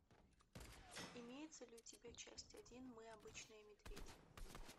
имеется ли у тебя часть один мы обычные медведи